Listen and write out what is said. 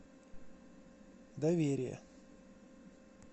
доверие